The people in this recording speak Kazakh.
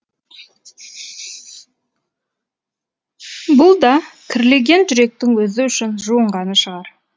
бұл да кірлеген жүректің өзі үшін жуынғаны шығар